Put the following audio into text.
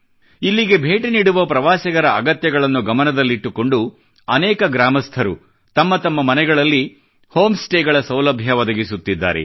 ಇಲ್ಲಿಗೆ ಭೇಟಿ ನೀಡುವ ಪ್ರವಾಸಿಗರ ಅಗತ್ಯಗಳನ್ನು ಗಮನದಲ್ಲಿಟ್ಟುಕೊಂಡು ಅನೇಕ ಗ್ರಾಮಸ್ಥರು ತಮ್ಮ ತಮ್ಮ ಮನೆಗಳಲ್ಲಿ ಹೋಂ ಸ್ಟೇಗಳ ಸೌಲಭ್ಯ ಒದಗಿಸುತ್ತಿದ್ದಾರೆ